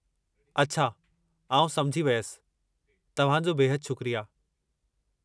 अछा आउं समझी वियसि। तव्हां जो बेहदि शुक्रिया।